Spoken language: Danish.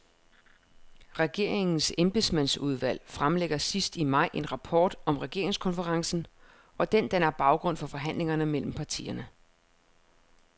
Regeringens embedsmandsudvalg fremlægger sidst i maj en rapport om regeringskonferencen, og den danner baggrund for forhandlingerne mellem partierne.